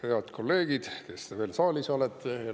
Head kolleegid, kes te veel saalis olete!